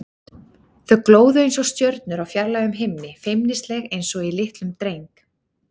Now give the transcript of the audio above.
Þau glóðu einsog stjörnur á fjarlægum himni, feimnisleg einsog í litlum dreng.